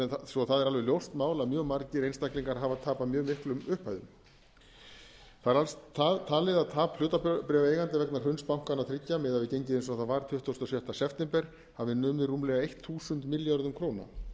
svo það er alveg ljóst að mjög margir einstaklingar hafa tapað mjög miklum upphæðum það er talið að tap hlutabréfaeigenda vegna hruns bankanna þriggja miðað við gengið eins og það var tuttugasta og sjötta september hafi numið rúmlega eitt þúsund milljörðum króna hér um bil